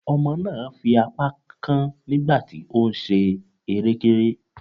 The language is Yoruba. Ọmọ náà fi apá kán nígbà tí ó ń ṣe erékéré.